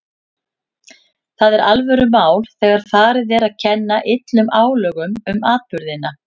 Það er alvörumál þegar farið er að kenna illum álögum um atburðina.